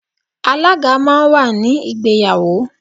Alaga máa ń wà ní ìgbéyàwó.